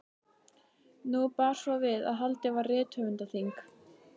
Nú bar svo við að haldið var rithöfundaþing.